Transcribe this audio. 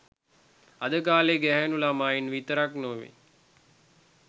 අද කාලේ ගැහැනු ළමයින් විතරක් නෙමේ